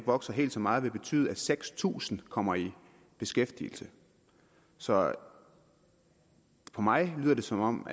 vokser helt så meget vil betyde at seks tusind kommer i beskæftigelse så for mig lyder det som om